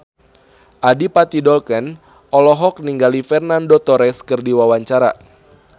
Adipati Dolken olohok ningali Fernando Torres keur diwawancara